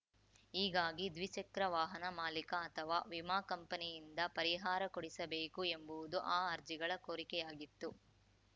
ಹೀಗಾಗಿ ದ್ವಿಚಕ್ರ ವಾಹನ ಮಾಲೀಕ ಅಥವಾ ವಿಮಾ ಕಂಪನಿಯಿಂದ ಪರಿಹಾರ ಕೊಡಿಸಬೇಕು ಎಂಬುವುದು ಆ ಅರ್ಜಿಗಳ ಕೋರಿಕೆಯಾಗಿತ್ತು